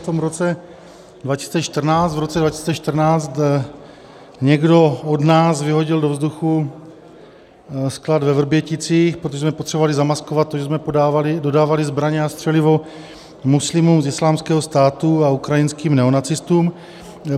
V roce 2014 někdo od nás vyhodil do vzduchu sklad ve Vrběticích, protože jsme potřebovali zamaskovat to, že jsme dodávali zbraně a střelivo muslimům z Islámského státu a ukrajinským neonacistům.